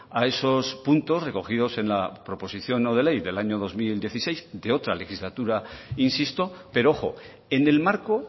a esos puntos recogidos en la proposición no de ley del año dos mil dieciséis de otra legislatura insisto pero ojo en el marco